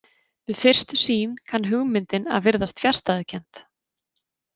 Við fyrstu sýn kann hugmyndin að virðast fjarstæðukennd.